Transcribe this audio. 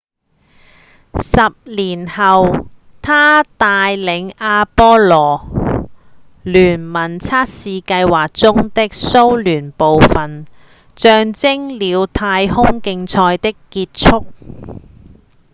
10年後他帶領阿波羅-聯盟測試計劃中的蘇聯部份象徵了太空競賽的結束